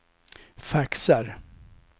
faxar